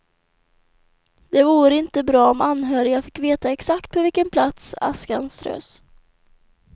Det vore inte bra om anhöriga fick veta exakt på vilken plats askan strös.